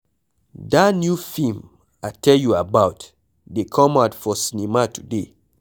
Dat new film I tell you about dey come out for cinema today.